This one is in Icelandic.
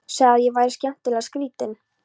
Sagði að ég væri skemmtilega skrýtin.